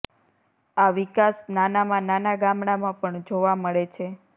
આ વિકાસ નાનામાં નાના ગામડામાં પણ જોવા મળે છે